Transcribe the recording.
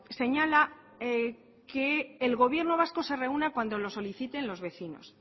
señala que el gobierno vasco se reúna cuando lo soliciten los vecinos